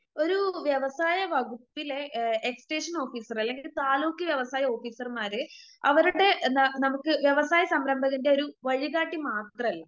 ഒരു വ്യവസായ എക്സ്റ്റേഷനോഫീസറെ അല്ലെങ്കിൽ താലൂക്ക് വ്യവസായ ഓഫീസർമാരെ അവര്ടെ ന നമക്ക് വ്യവസായ സംരംഭകൻ്റെ ഒരു വഴികാട്ടി മാത്രല്ല